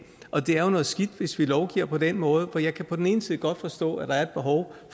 og det er jo noget skidt hvis vi lovgiver på den måde for jeg kan på den ene side godt forstå at der er et behov